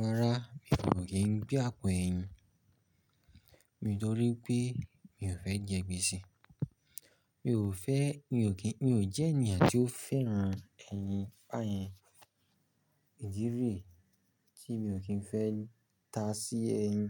Rárá, mi ò kí ń gbé àpò ẹyin nítorí pé mi ò fẹ́ jẹ gbèsè. Mi ò fẹ́, mi ò kí, mi ò jẹ́ ènìyàn tí ó fẹ́ran ẹyin bàyèn, ìdi níyí tí mi ò kí ń fẹ́ ta sí ẹyin.